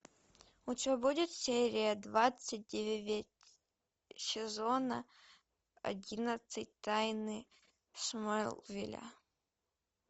у тебя будет серия двадцать девять сезона одиннадцать тайны смолвиля